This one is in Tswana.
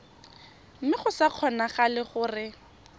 mme go sa kgonagale gore